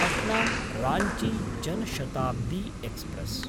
पट्ना–राञ्ची Jan Shatabdi express